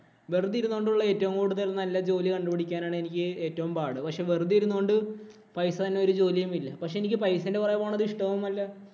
വെറുതെ ഇരുന്നുകൊണ്ടുള്ള ഏറ്റവും കൂടുതൽ നല്ല ജോലി കണ്ടുപിടിക്കാനാണ് എനിക്ക് ഏറ്റവും പാട്. പക്ഷേ, വെറുതെ ഇരുന്നോണ്ട് പൈസ തരുന്ന ഒരു ജോലിയും ഇല്ല. പക്ഷേ, എനിക്ക് പൈസേന്‍റെ പുറകെ പോണത് ഇഷ്ടവുമല്ല.